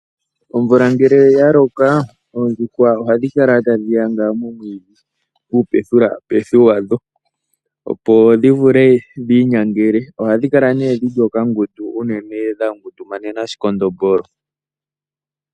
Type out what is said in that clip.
Omvula ngele yaloka oondjuhwa ohadhi kala tadhi yadha momwiidhi uupethupethu yadho opo dhi vule dhi inyangele ohadhi kala dhili okangundu unene dhangudumanena oshikondombolo.